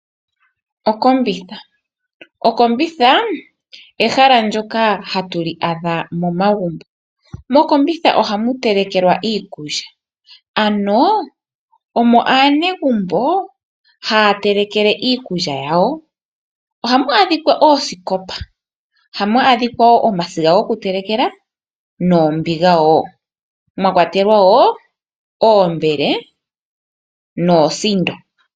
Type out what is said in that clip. Okombitha. Okombitha ahala ndjoka hatu li adha momagumbo momombitha ohamu telekelwa iikulya ano omo aanegumbo haya telekele iikulya yawo . Ohamu adhika oosikopa ,ohamu adhika woo omasiga goku telekela noombiga woo mwakwatelwa woo oombele noosindo.